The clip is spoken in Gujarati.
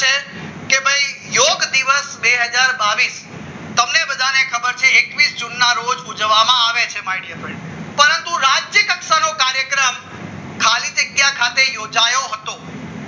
યોગ દિવસ બે હજાર બાવીસ તમને બધાને ખબર છે એકવીસ જૂનના રોજ ઉજવવામાં આવે છે માય ડિયર ફ્રેન્ડ પરંતુ રાષ્ટ્રીય કક્ષાનો કાર્યક્રમ ખાલી જગ્યા ખાતે યોજાય હતો